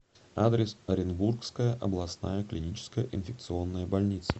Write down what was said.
адрес оренбургская областная клиническая инфекционная больница